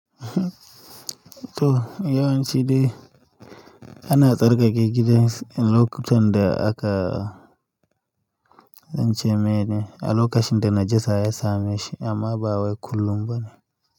To yawanci dai ana tsarkake gidan lokutan da aka zan ce meye ne? A lokacin da najasa ya same shi amma ba wai kullum ba ne.